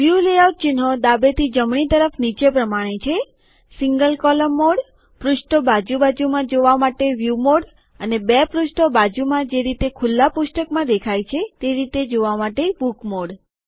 view layout ચિહ્નો ડાબેથી જમણી તરફ નીચે પ્રમાણે છે સીન્ગલ કોલમ મોડપૃષ્ઠો બાજુ બાજુમાં જોવા માટે વ્યુ મોડ અને બે પૃષ્ઠો બાજુમાં જે રીતે ખુલ્લા પુસ્તકમાં દેખાય તે રીતે જોવા બુક મોડ